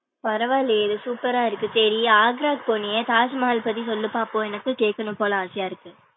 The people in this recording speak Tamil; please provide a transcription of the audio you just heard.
பரவா இல்லையே இது super ரா இருக்கு சேரி ஆக்ராகு போனியே தாஜ்மஹால் பத்தி சொல்லு பாப்போம், எனக்கு கேக்கணும் போல ஆசையா இருக்கு.